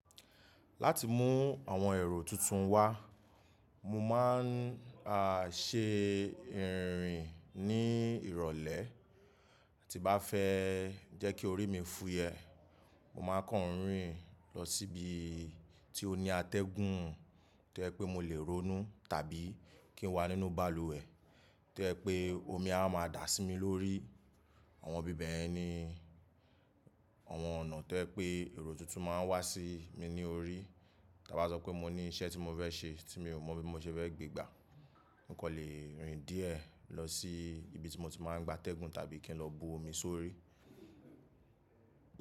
Láti mú àwọn èrò tuntun wá, mo máa ń à ṣe ìrìn ní ìrọ̀lẹ́, tí bá fẹ́ jẹ́ kí orí mi fúyẹ́, mo máa kàn ń rìn lọ síbi tí ó ní atẹ́gùn tí ẹ pé mo lè ronú tàbí kí n wà nínú balùwẹ̀ tí ẹ pé omi a máa dà sí mi lórí. Àwọn ibí bẹ̀yẹn ni àwọn ọ̀nà tí ẹ pé èrò tuntun máa ń wá sí mi ní orí. Tí a bá sọ pé mo ní iṣẹ́ tí mo fẹ́ ṣe tí mi ò mọ bí mo ṣe fẹ́ gbégbá, mo kan lè rìn díẹ̀ lọ sí ibi tí mo ti máa ń gba atẹ́gùn tàbí kí n lọ bu omi sórí.